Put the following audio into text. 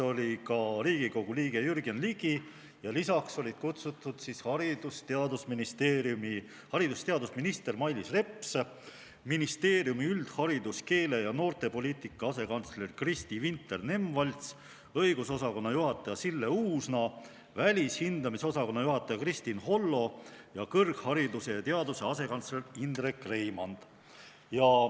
Oli ka Riigikogu liige Jürgen Ligi ja lisaks olid kutsutud haridus- ja teadusminister Mailis Reps, ministeeriumi üldharidus-, keele- ja noortepoliitika asekantsler Kristi Vinter-Nemvalts, õigusosakonna juhataja Sille Uusna, välishindamise osakonna juhataja Kristin Hollo ja kõrghariduse ja teaduse asekantsler Indrek Reimand.